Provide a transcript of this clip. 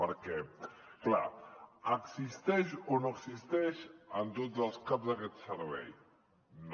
perquè clar existeix o no existeix en tots els caps aquest servei no